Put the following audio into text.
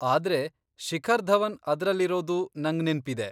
ಆದ್ರೆ, ಶಿಖರ್ ಧವನ್ ಅದ್ರಲ್ಲಿರೋದು ನಂಗ್ ನೆನ್ಪಿದೆ.